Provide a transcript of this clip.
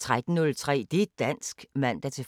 Radio24syv